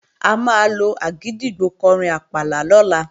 A máa lo àgìdìgbò kọrin àpàlà lọ́la